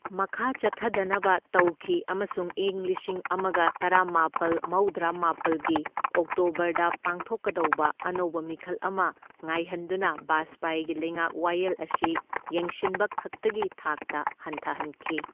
ꯃꯈꯥ ꯆꯠꯊꯗꯅꯕ ꯇꯧꯈꯤ ꯑꯃꯁꯨꯡ ꯢꯪ ꯂꯤꯁꯤꯡ ꯑꯃꯒ ꯇꯔꯥꯃꯥꯄꯜ ꯃꯧꯗ꯭ꯔꯥꯃꯥꯄꯜ ꯒꯤ ꯑꯣꯛꯇꯣꯕꯔꯗ ꯄꯥꯡꯊꯣꯛꯀꯗꯧꯕ ꯑꯅꯧꯕ ꯃꯤꯈꯜ ꯑꯃ ꯉꯥꯏꯍꯟꯗꯨꯅ ꯕꯥꯖꯄꯥꯢꯒꯤ ꯂꯩꯉꯥꯛ ꯋꯥꯌꯦꯜ ꯑꯁꯤ ꯌꯦꯡꯁꯤꯟꯕ ꯈꯛꯇꯒꯤ ꯊꯥꯛꯇ ꯍꯟꯊꯍꯟꯈꯤ꯫